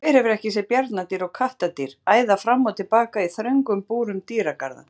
Hver hefur ekki séð bjarndýr og kattardýr æða fram og tilbaka í þröngum búrum dýragarða?